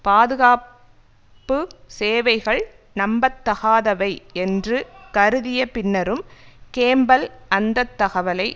பாதுகாப்பு சேவைகள் நம்பத்தகாதவை என்று கருதிய பின்னரும் கேம்பல் அந்த தகவலை